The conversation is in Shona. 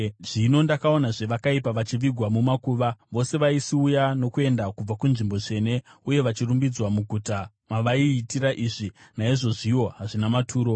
Zvino ndakaonazve vakaipa vachivigwa mumakuva, vose vaisiuya nokuenda kubva kunzvimbo tsvene uye vachirumbidzwa muguta mavaiitira izvi. Naizvozviwo hazvina maturo.